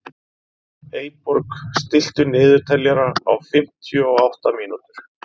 Eyborg, stilltu niðurteljara á fimmtíu og átta mínútur.